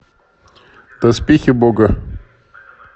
доспехи бога